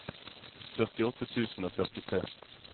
førtiåtte tusen og førtitre